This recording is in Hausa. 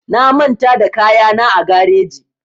Na manta da kayana a gareji